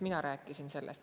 Mina rääkisin sellest.